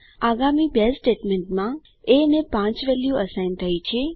આગામી બે સ્ટેટમેન્ટ માં એ ને 5 વેલ્યુ અસાઇન થઈ છે